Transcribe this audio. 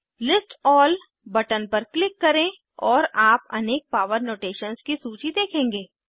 list all button पर click करें और आप अनेक पावर नोटेशन्स की सूची देखेंगे